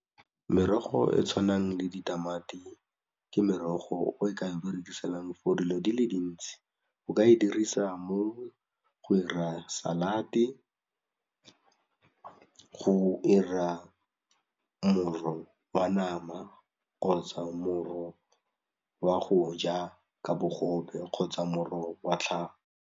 Merogo e tshwanang le ditamati ke merogo e re ka e berekiselang for dilo di le dintsi o ka e dirisa mo go ira salate, go ira moro wa nama kgotsa moro wa go ja ka bogobe kgotsa moro wa tlhago.